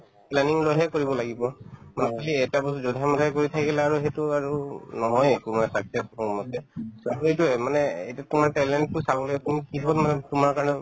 planning লৈহে কৰিব লাগিব monthly এটা বস্তু যধে-মধে গৈ থাকিলা আৰু সেইটো আৰু নহয়ে একো মানে মোৰমতে so, সেইটোয়ে মানে এইটো তোমাৰ talent তো চাবলৈ তুমি কিহত মানে তোমাৰ কাৰণে